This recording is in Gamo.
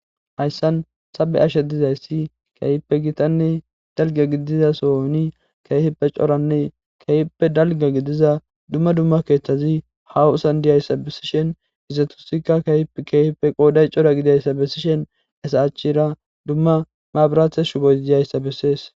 hayssan be'ashe dizayssi keehippe gitanne dalga gidiza sooni keefippe coranne keehippe dalga gidiza dumma dumma keeththazi haw san diyayssa besishen izatusikka keehkeefippe qooday cora gidayssa bessishen esa achchira dumma maabrathe shuboy diyayssa bessees